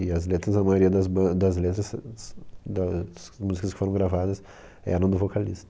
E as letras, a maioria das ban, das letras s s das músicas que foram gravadas eram do vocalista.